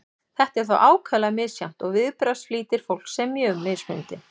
þetta er þó ákaflega misjafnt og viðbragðsflýtir fólks er mjög mismunandi